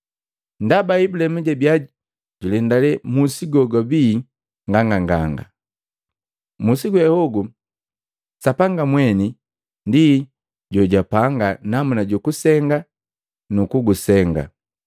Ndaba Ibulaimu jabiya julendale musi gogubii nganganganga, musi goguwe Sapanga mweni ndi jo jojapanga namuna ju kusenga nu kugusenga.